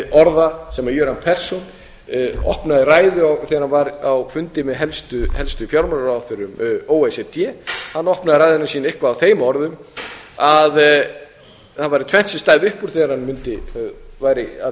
orða sem gera perssons opnaði ræðu þegar hann var á fundi með helstu fjármálaráðherrum o e c d hann opnaði ræðuna sína eitthvað á þeim orðum að það væri tvennt sem stæði upp úr þegar hann væri að